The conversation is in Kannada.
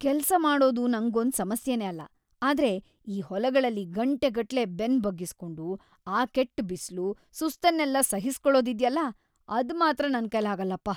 ಕೆಲ್ಸ್‌ ಮಾಡೋದು ನಂಗೊಂದ್ ಸಮಸ್ಯೆನೆ ಅಲ್ಲ, ಆದ್ರೆ ಆ ಹೊಲಗಳಲ್ಲಿ ಗಂಟೆಗಟ್ಲೆ ಬೆನ್ನ್‌ ಬಗ್ಗಿಸ್ಕೊಂಡು, ಆ ಕೆಟ್ಟ್ ಬಿಸ್ಲು, ಸುಸ್ತನ್ನೆಲ್ಲ ಸಹಿಸ್ಕೊಳೋದಿದ್ಯಲ್ಲ, ಅದ್ಮಾತ್ರ ನನ್ಕೈಲಾಗಲ್ಲಪ್ಪ.